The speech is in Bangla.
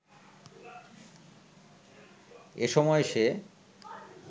এসময় সে